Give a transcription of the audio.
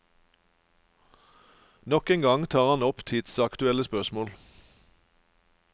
Nok en gang tar han opp tidsaktuelle spørsmål.